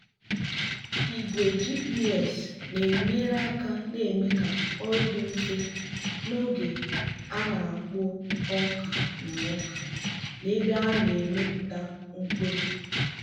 igwe gps na-enyere aka na-eme ka ọrụ dị mfe n'oge a na-akpụ ọka na ọka na ebe a na-emepụta mkpụrụ.